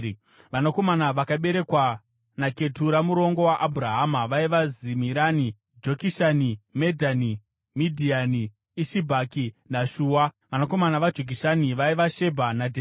Vanakomana vakaberekwa naKetura, murongo waAbhurahama vaiva: Zimirani, Jokishani, Medhani, Midhiani, Ishibhaki naShua. Vanakomana vaJokishani vaiva: Shebha naDhedhani.